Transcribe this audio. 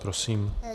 Prosím.